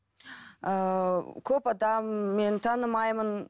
ыыы көп адам мен танымаймын